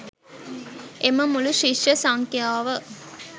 එම මුලු ශිෂ්‍ය සංඛ්‍යාව